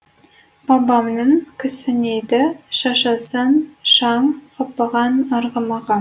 бабамның кісінейді шашасын шаң қаппаған арғымағы